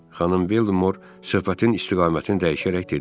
Xanım Bellimor söhbətin istiqamətini dəyişərək dedi.